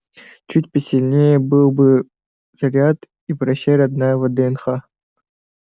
чуть посильнее был бы заряд и прощай родная вднх